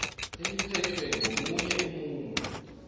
eliphethwe ngomunye umuntu